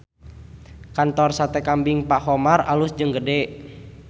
Kantor Sate Kambing Pak Khomar alus jeung gede